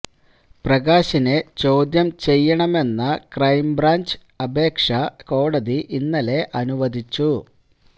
പ്രകാശിനെ ചോദ്യം ചെയ്യണമെന്ന െ്രെകം ബ്രാഞ്ച് അപേക്ഷ കോടതി ഇന്നലെ അനുവദിച്ചു